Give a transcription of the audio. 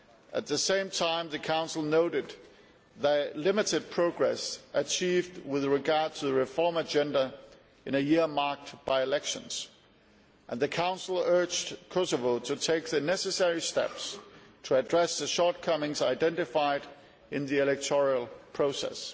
At the same time, the Council noted the limited progress achieved with regard to the reform agenda in a year marked by elections, and it urged Kosovo to take the necessary steps to address the shortcomings identified in the electoral process.